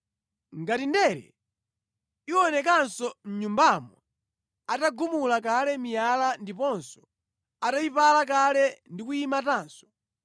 “Ngati ndere iwonekanso mʼnyumbamo atagumula kale miyala ndiponso atayipala kale ndi kuyimatanso,